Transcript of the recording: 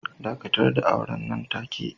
Dakatar da auren nan take.